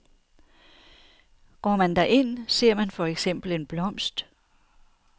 Går man derind, ser man for eksempel en blomst.